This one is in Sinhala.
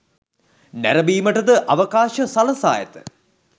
නැරඹීමට ද අවකාශ සලසා ඇත.